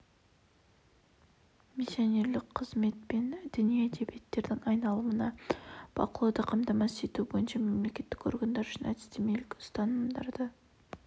миссионерлік қызмет пен діни әдебиеттердің айналымына бақылауды қамтамасыз ету бойынша мемлекеттік органдар үшін әдістемелік ұсынымдарды